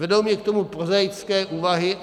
Vedou mě k tomu prozaické úvahy.